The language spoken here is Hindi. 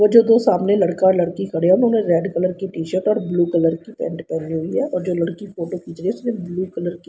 वो जो दो सामने लड़का और लड़की खड़े हैं उन्होंने रेड कलर की टी शर्ट और ब्ल्यू कलर की पेंट पहनी हुई है और जो लड़की फोटो खींच रही हैं उसने ब्लू कलर की --